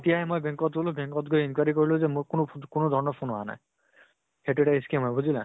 তেতিয়া হে মই bank ত গলো। bank ত গৈ enquiry কৰিলো যে মোক কোনো কোনো ধৰণৰ phone অহা নাই। সেইটো এটা scam হয়, বুজিলা?